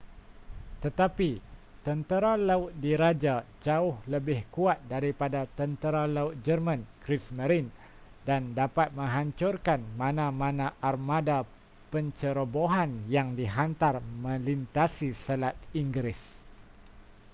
tetapi tentera laut diraja jauh lebih kuat daripada tentera laut jerman kriegsmarine” dan dapat menghancurkan mana-mana armada pencerobohan yang dihantar melintasi selat inggeris